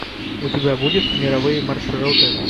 у тебя будет мировые маршруты